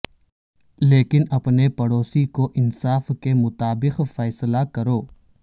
لیکن اپنے پڑوسی کو انصاف کے مطابق فیصلہ کرو